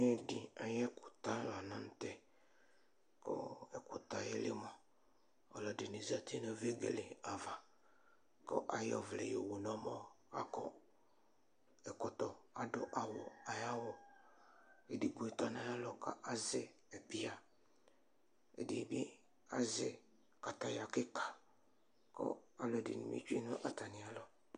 Ɛdi ayʋ ɛkʋta lanʋtɛ, kʋ ɛkʋ yɛli mʋa, ɔlɔdini zati nʋ vegeleava, kʋ ayɔ ɔvlɛ yowunʋ ɔmɔ Akɔ ɛkɔtɔ adʋ awʋ ayʋ awʋ Edigbo tɔnʋ ayʋ alɔ kʋ azɛ biya , ɛdibi azɛ kataya kika, kʋ alʋɛdini bi tsue nʋ atami alɔ